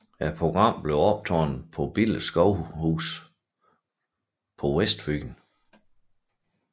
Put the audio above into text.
Programmet bliver optaget på Billeskovhus på Vestfyn